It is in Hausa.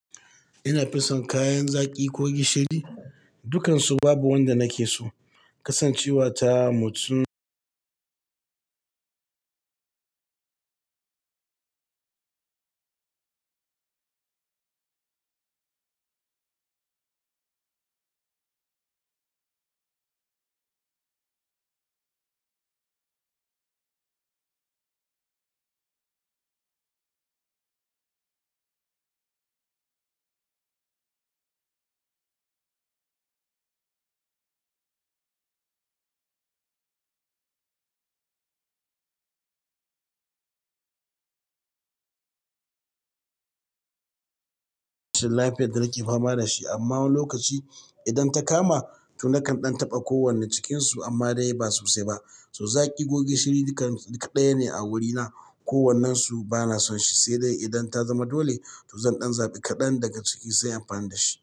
Ina fison kayan zaki ko gishiri, dukkansu babu wanda nake so. Kasancewa ta mutu lafiyar da nake fama da shi. Amma wani lokaci idan ta kama to nakan ɗan taɓa ko wanne cikinsu amma dai ba sosai ba. To zaƙi ko gishiri duka ɗaya ne a wurina. Ko wannan su bana son shi, sai dai idan ta zama dole to zan ɗan zaɓi kaɗan daga ciki sai amfana da shi.